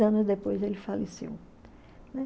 anos depois ele faleceu.